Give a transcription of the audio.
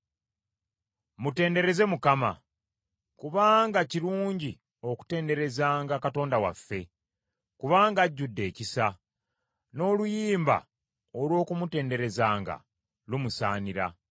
Mutendereze Mukama ! Kubanga kirungi okutenderezanga Katonda waffe; kubanga ajjudde ekisa, n’oluyimba olw’okumutenderezanga lumusaanira.